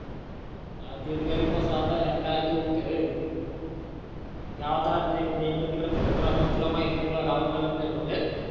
हा तेच बरंय बाबा गावात तर रहित नई इकडत तिकड़त फुलत राहतो आणि तुला माहित नाय तुह्या गावातलं लागण हाये म्हणून